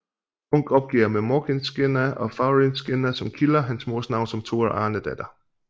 Munch opgiver med Morkinskinna og Fagrskinna som kilder hans mors navn som Tora Arnedatter